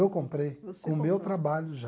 Eu comprei, com o meu trabalho já.